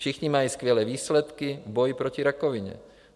Všichni mají skvělé výsledky v boji proti rakovině.